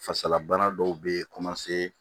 Fasalabana dɔw bɛ